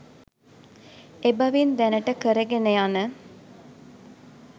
එබැවින් දැනට කරගෙන යන